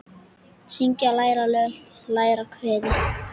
Syngja- læra lög- læra kvæði